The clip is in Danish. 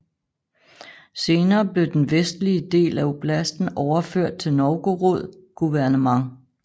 Senere blev den vestlige del af oblasten overført til Novgorod guvernement